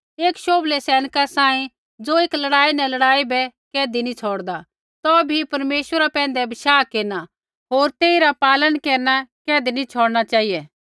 एक शोभलै सैनिका सांही ज़ो एक लड़ाई न लड़ाई बै कैधी नैंई छ़ौड़दा तौभै भी परमेश्वरा पैंधै बशाह केरना होर तेइरा पालन केरना कैधी नैंई छ़ौड़ना चेहिऐ